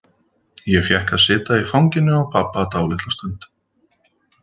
Ég fékk að sitja í fanginu á pabba dálitla stund.